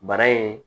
Bana in